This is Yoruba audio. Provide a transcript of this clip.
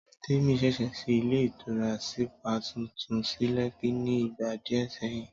Témi ṣẹ̀ṣẹ̀ ṣí ilé ìtura sípà tuntun sí Lẹ́kí ni ìgbà díẹ̀ sẹ́yìn